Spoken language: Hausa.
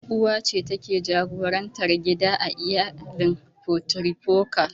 Uwa ce take jagorantar gida a iyalin matrifokal.